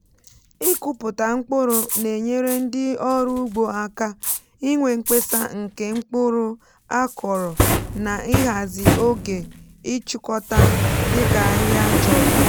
ịkụpụta mkpụrụ na-enyere ndị ọrụ ugbo aka inwe mkpesa nke mkpụrụ á kọrọ na ịhazi oge ịchụkọta dị ka ahịa chọrọ.